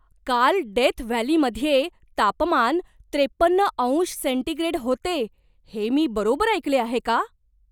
काल डेथ व्हॅलीमध्ये तापमान त्रेपन्न अंश सेंटीग्रेड होते हे मी बरोबर ऐकले आहे का?